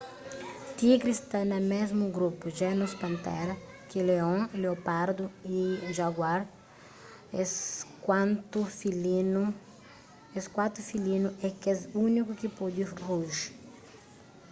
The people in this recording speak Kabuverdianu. tigri sta na mésmu grupu genus panthera ki leon leopardu y jaguar es kuatu filinu é kes úniku ki pode ruji